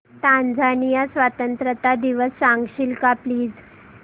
Tanzania स्वतंत्रता दिवस सांगशील का प्लीज